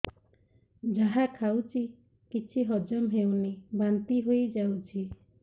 ଯାହା ଖାଉଛି କିଛି ହଜମ ହେଉନି ବାନ୍ତି ହୋଇଯାଉଛି